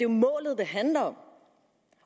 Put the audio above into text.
målet det handler om